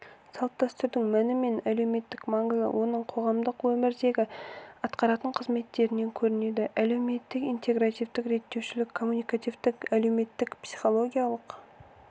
салт-дәстүрдің мәні мен әлеуметтік маңызы оның қоғамдық өмірдегі атқаратын қызметтерінен көрінеді әлеуметтік интегративтік реттеушілік коммуникативтік әлеуметтік-психологиялық